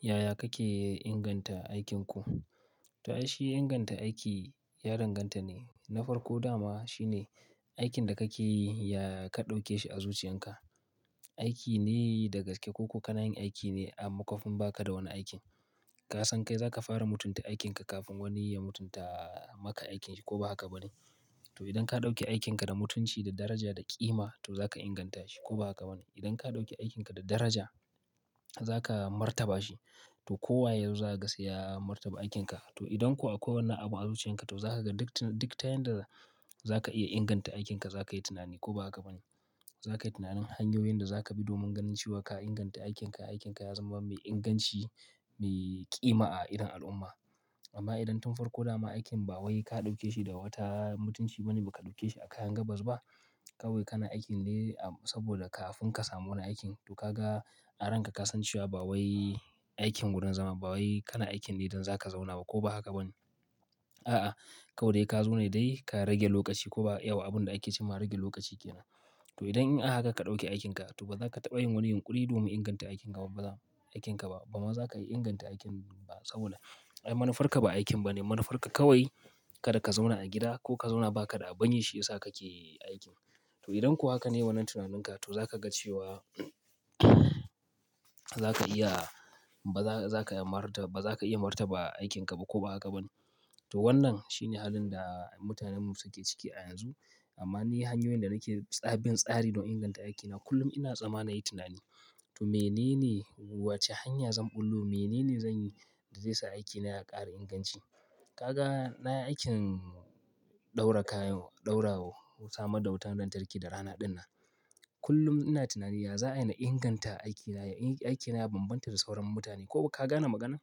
Yaya kake inganta aikinku? To, ai shi inganta aiki ya danganta ne, na farko dama shine aikin da kake yi ya ka ɗauke shi a zuciyarka. Aiki ne da gaske ko ko kanayin aiki ne a makwafin baka da wani aiki. Ka san kai za ka fara mutunta aikin ka kafin wani ya mutunta maka aikinka ko ba haka ba ne? To, idan ka ɗauke aikin ka da mutunci da daraja da ƙima to za ka inganta shi ko ba haka ba ne? Idan ka ɗauke aikin ka da daraja, za ka martaba shi to kowa yanzu za ka saya martaba aikin ka. To, idan kuwa akwai wani abu a zuciyan ka to za ka ga dik tayin da za ka iya inganta aikin ka za ka yi tunani ko ba haka ba ne? Za ka yi tunanin hanyoyin da za ka bi domin ganin cewa ka inganta aikin ka, aikin ka ya zama mai inganci, mai kima a idon al'umma. Amma idan tun farko dama aikin ba wai ka ɗauke shi da wata mutunci ba ne, ba ka ɗauke shi a kayan gabas ba, kawai kana aikin ne saboda kafin ka samu wani aiki, to ka ga an ranka ka san cewa ba wai aikin wurin zama bawai kana aikin ne don zaka zauna bane ko ba haka bane. A'a, kawai dai ka zo ne dai ka rage lokaci ko ba abun da ake cewa rage lokaci ke nan. To, idan in haka ka ɗauke aikin ka to ba za ka taɓa yin wani yunƙuri domin inganta aikin ka ba. Bama za ka iya inganta aikin ba saboda manufarka ba aikin ba ne. Manufarka kawai kada ka zauna a gida ko ka zauna baka da a ban yi shi ya sa kake aikin. To idan ko hake ne wannan tunaninka to zaka ga cewa bazaka iya martaba aikin ka ba ko ba haka bane to, wannan shine halin da mutanen mu suke ciki a yanzu. Amma ni hanyoyin da nake tsabin tsari don inganta aikina kullum ina tsammani yi tunani. To, menene, wace hanya zan ɓullo, menene zan yi da zai sa aikina ya ƙara inganci? Ka ga na aikin ɗaura kayan, ɗaura wa, samar da wutar lantarki da rana ɗin nan. Kullum ina tunani ya za'a ina inganta aikina, aikina ya bambanta da sauran mutane ko ka gane magana?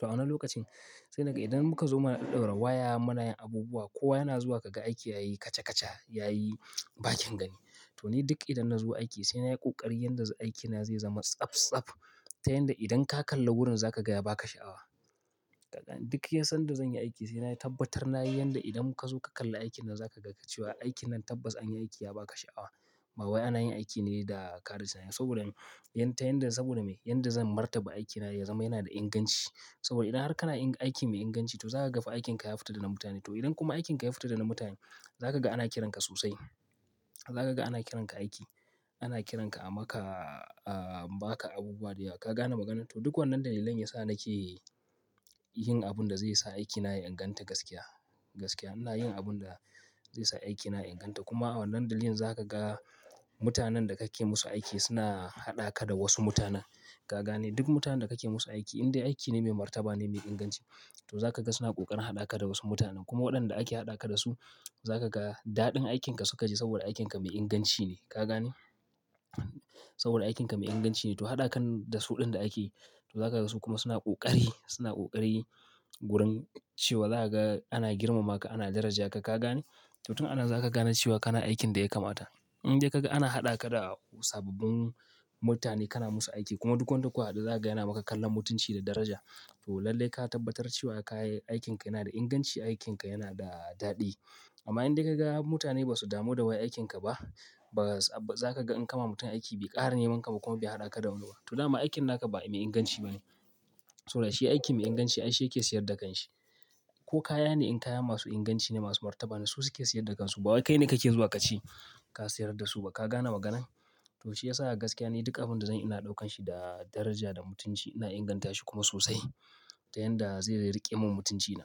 To, a wani lokacin sai naga idan muka zo mana ɗaura waya, mana yin abubuwa, kowa yana zuwa kaga aiki yayi kaca kaca, yayi bakin gani. To, ni duk idan na zo aiki sai na yi ƙoƙari yanda aikina zai zama tsaf tsaf, ta yanda idan ka kalla wurin za ka gaya ba ka sha'awa. Ka ga duk yan son da zan yi aiki sai na yi tabbatar na yi yanda idan muka zo ka kalla aikin nan za ka ga ka cewa aikin nan tabbas an yi aiki ya ba ka sha'awa. Ba wai ana yin aiki ne da karasawa da wuri. Saboda me? Yanda, saboda me? Yanda zan martaba aikina ya zama yana da inganci. Saboda idan har kana aikin mai inganci to za ka ga fa aikin ka ya fita dana mutane. To, idan kuma aikin ka ya fita dana mutane, za ka ga ana kiranka sosai. Za ka ga ana kiranka aiki, ana kiranka a maka, ah, ba ka abubuwa da yawa ka gane maganar. To, duk wannan dalilan ya sa nake yin abun da zai sa aikina ya inganta gaskiya, gaskiya. Ina yin abun da zai sa aikina inganta. Kuma wannan dalilin za ka ga mutanen da kake musu aiki suna haɗaka da wasu mutanen. Ka gane duk mutanen da kake musu aiki in dai aiki ne mai martaba ne, mai inganci to za ka ga suna ƙoƙarin haɗaka da wasu mutanen. Kuma waɗanda ake haɗaka da su za ka ga daɗin aikin ka suka ji saboda aikin ka mai inganci ne. Ka gane? Saboda aikin ka mai inganci ne to haɗakan da su ɗin da ake yi to za ka ga su kuma suna ƙoƙari, suna ƙoƙari wurin cewa za ka ga ana girmama ka, ana daraja ka, ka gane? To tun a nan za ka gane cewa kana aikin da ya kamata. In dai ka ga ana haɗa ka da sababbin mutane kana musu aiki kuma duk wanda kuwa hada za ka gane maka kallon mutunci da daraja to lallai ka tabbatar cewa ka yi aikin ka yana da inganci, aikin ka yana da daɗi. Amma in dai ka ga mutane ba su damu da wai aikin ka ba, ba za ka ga in kama mutum aiki bai ƙara neman ka ba kuma bai haɗa ka da wani ba. To, daman aikin naka ba mai inganci ba ne. To, da shi aiki mai inganci, ai shi yake siyar da kanshi. Ko kaya ne in kaya masu inganci ne, masu martaba ne su suke siyar da kansu. Ba wai kai ne kake zuwa kace ka sayar da su ba. Ka gane maganan? To, shi ya sa gaskiya ne duk abin da zan ina ɗaukan shi da daraja, da mutunci ina inganta shi kuma sosai ta yanda zai riƙe min mutuncina.